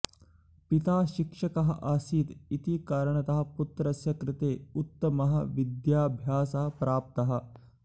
पिता शिक्षकः आसीत् इति कारणतः पुत्रस्य कृते उत्तमः विद्याभ्यासः प्राप्तः